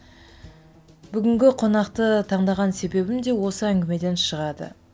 бүгінгі қонақты таңдаған себебім де осы әңгімеден шығады